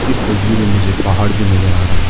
इस तस्वीर में मुझे पहाड़ भी नजर आ रहा--